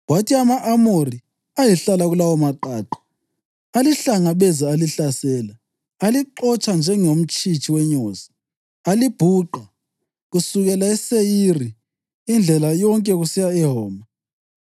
Kwathi ama-Amori ayehlala kulawomaqaqa alihlangabeza alihlasela; alixotsha njengomtshitshi wenyosi, alibhuqa kusukela eSeyiri indlela yonke kusiya eHoma.